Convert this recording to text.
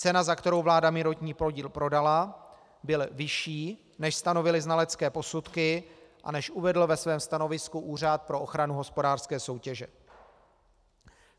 Cena, za kterou vláda minoritní podíl prodala, byl vyšší, než stanovily znalecké posudky a než uvedl ve svém stanovisku Úřad pro ochranu hospodářské soutěže.